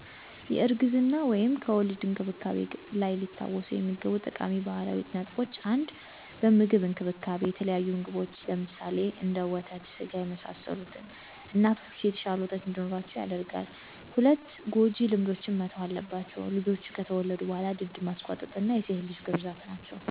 የእርግዝና/ከወሊድ እንክብካቤ ላይ ሊታወሱ የሚገቡ ጠቃሚ ባህላዊ ጥበቦች - 1 በምግብ እንክብካቤ - የተለያዩ ምግቦች (ለምሳሌ፣ ወተት ስጋ፣ የመሳሰሉት) እናቶች የተሻለ ወተት እንዲኖራቸው ያደርጋል። ሰ ጎጂ ልማዶች መተው ያለባቸው -- ልጆች ከተወለዱ በኋላ ድድ ማሰጓጠጥ እና የሴት ልጅ ግርዛት ናቸው።